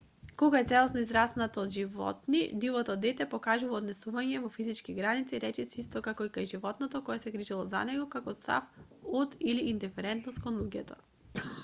кога е целосно израснато од животни дивото дете покажува однесувања во физички граници речиси исти како кај животното кое се грижело за него како страв од или индиферентност кон луѓето